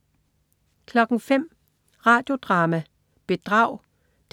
05.00 Radio Drama: Bedrag